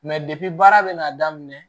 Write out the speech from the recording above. Mɛ depi baara bɛ na daminɛ